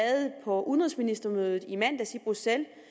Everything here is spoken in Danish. på udenrigsministermødet i mandags i bruxelles